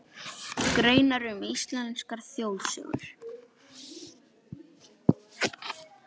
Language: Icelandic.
Greinar um íslenskar þjóðsögur.